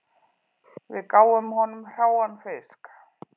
Við gáfum honum hráan fisk